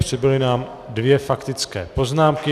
Přibyly nám dvě faktické poznámky.